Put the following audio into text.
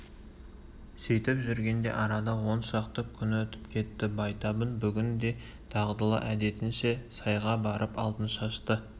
сөйтіп жүргенде арада он шақты күн өтіп кетті байтабын бүгін де дағдылы әдетінше сайға барып алтыншашты